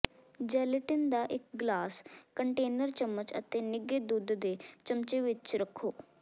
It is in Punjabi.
ਜੈਲੇਟਿਨ ਦਾ ਇੱਕ ਗਲਾਸ ਕੰਟੇਨਰ ਚਮਚ ਅਤੇ ਨਿੱਘੇ ਦੁੱਧ ਦੇ ਚਮਚੇ ਦੀ ਵਿੱਚ ਰੱਖੋ